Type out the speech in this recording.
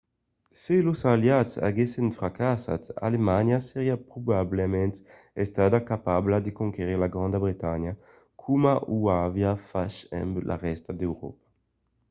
se los aliats aguèssen fracassat alemanha seriá probablament estada capabla de conquerir la granda bretanha coma o aviá fach amb la rèsta d’euròpa